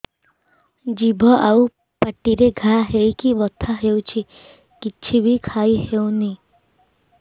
ଜିଭ ଆଉ ପାଟିରେ ଘା ହେଇକି ବଥା ହେଉଛି କିଛି ବି ଖାଇହଉନି